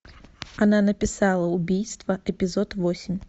она написала убийство эпизод восемь